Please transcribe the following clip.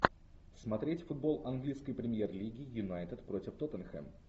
смотреть футбол английской премьер лиги юнайтед против тоттенхэм